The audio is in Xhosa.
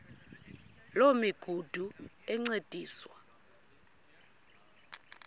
loo migudu encediswa